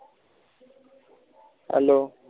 hello